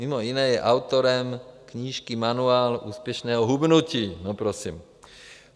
Mimo jiné je autorem knížky Manuál úspěšného hubnutí.